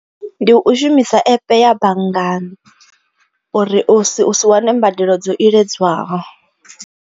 Ndi u shumisa app ya banngani uri usi usi wane mbadelo dzo iledzwaho.